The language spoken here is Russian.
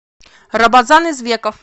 рабазан извеков